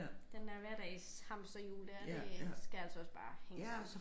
Den der hverdagshamsterhjul der det skal altså også bare hænge sammen